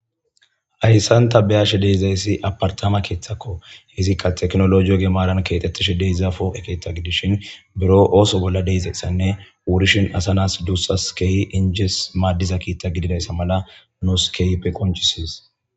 Hayssanta beyashe deezayssi apartama keeththakko izikka teknologiyo gemaran keexettishe deezafo ekeetha gidishin biro ooso bolla deizayssanne wurishin asanas duussas keeyi injes maaddiza kiitta gididayssa mala nooskeype qonchisis.